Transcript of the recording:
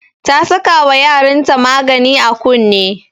Ta saka wa yarin ta magani a kunne